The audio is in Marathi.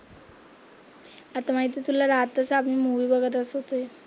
आता माहितीये तुला रात्रीचं आम्ही मूवी बघत असते.